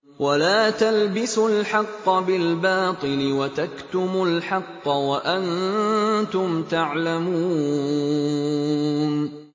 وَلَا تَلْبِسُوا الْحَقَّ بِالْبَاطِلِ وَتَكْتُمُوا الْحَقَّ وَأَنتُمْ تَعْلَمُونَ